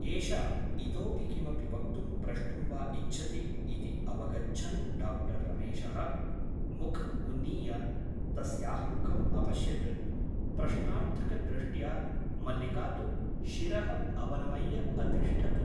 एषा इतोऽपि किमपि वक्तुं प्रष्टुं वा इच्छति ' इति अवगच्छन् डा रमेशः मुखम् उन्नीय तस्याः मुखम् अपश्यत् प्रश्नार्थकदृष्ट्या मल्लिका तु शिरः अवनमय्य अतिष्ठत् ।